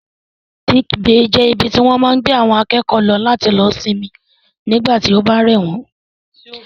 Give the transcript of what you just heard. Sick bay jẹ́ ibi tí wọ́n máa ń gbé àwọn akẹ́kọ̀ọ́ lọ láti lọ sinmi tí ó bá rẹ̀ wọ́n